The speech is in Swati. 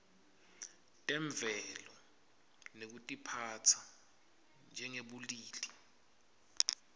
temvelo nekutiphatsa njengebulili